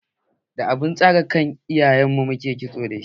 Da abun tsaga iyayen mu ke Kitso dashi.